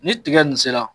Ni tigɛ nin sera